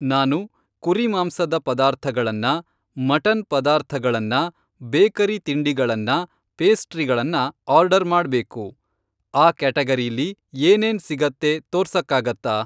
ನಾನು ಕುರಿಮಾಂಸದ ಪದಾರ್ಥಗಳನ್ನ, ಮಟನ್ ಪದಾರ್ಥಗಳನ್ನ, ಬೇಕರಿ ತಿಂಡಿಗಳನ್ನ, ಪೇಸ್ಟ್ರಿಗಳನ್ನ ಆರ್ಡರ್ ಮಾಡ್ಬೇಕು, ಆ ಕ್ಯಾಟಗರೀಲಿ ಏನೇನ್ ಸಿಗತ್ತೆ ತೋರ್ಸಕ್ಕಾಗತ್ತಾ?